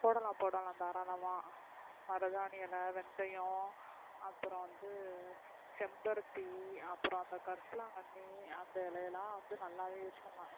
போடலாம் போடலாம் தாறாளமா மருதாணி இலை வெந்தயம் அப்றம வந்து செம்பருத்தி அப்றம் அந்த கரிசலாங்கன்னி அந்த இலைலா வந்து நல்லாவே use பண்ணலாம்,